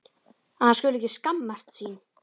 Að hann skuli ekki skammast sín.